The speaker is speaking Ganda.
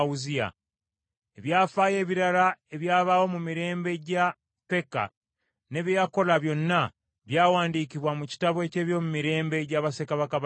Ebyafaayo ebirala ebyabaawo mu mirembe gya Peka, ne bye yakola byonna byawandiikibwa mu kitabo eky’ebyomumirembe gya bassekabaka ba Isirayiri.